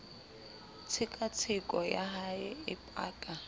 tshekatsheko ya hae e paka